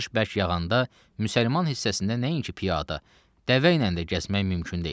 Yağış bərk yağanda müsəlman hissəsində nəinki piyada, dəvə ilə də gəzmək mümkün deyil.